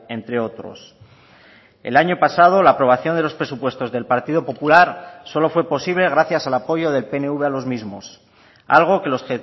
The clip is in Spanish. entre otros el año pasado la aprobación de los presupuestos del partido popular solo fue posible gracias al apoyo del pnv a los mismos algo que los